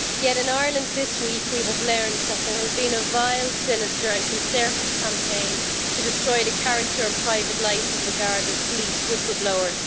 However, in Ireland this week we have learned that there has been a vile, sinister and concerted campaign to destroy the character and private life of a Garda police whistle blower.